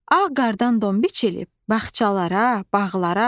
Ağ qardan don biçilib, bağçalara, bağlara.